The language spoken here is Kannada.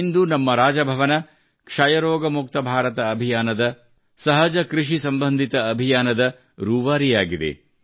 ಇಂದು ನಮ್ಮ ರಾಜಭವನ ಕ್ಷಯರೋಗ ಮುಕ್ತ ಭಾರತ ಅಭಿಯಾನದ ಸಹಜ ಕೃಷಿ ಸಂಬಂಧಿತ ಅಭಿಯಾನದ ರೂವಾರಿಯಾಗುತ್ತಿದೆ